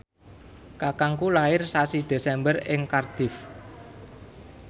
kakangku lair sasi Desember ing Cardiff